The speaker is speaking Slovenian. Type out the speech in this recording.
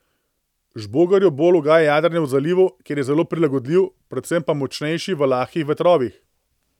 Žbogarju bolj ugaja jadranje v zalivu, ker je zelo prilagodljiv, predvsem pa močnejši v lahkih vetrovih.